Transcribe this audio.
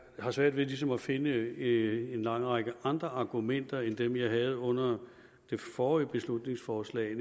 har svært ved ligesom at finde en lang række andre argumenter end dem jeg havde under det forrige beslutningsforslag